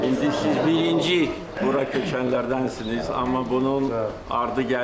İndi siz birinci bura köçənlərdənsiniz, amma bunun ardı gəlir.